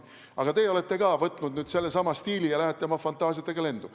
Aga teie olete võtnud nüüd sellesama stiili ja lähete oma fantaasiatega lendu.